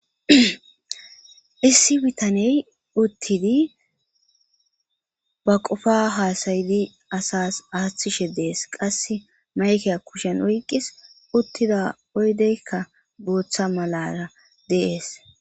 issi bitaney uttidi ba qofa haasayidi asas aaththishe dees qasse mayke kushen oyqis uttida oydeykka gooththa malara dees